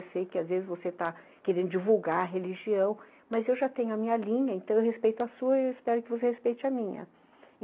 Eu sei que às vezes você está querendo divulgar a religião, mas eu já tenho a minha linha, então eu respeito a sua e espero que você respeite a minha.